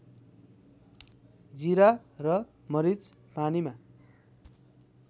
जिरा र मरिच पानीमा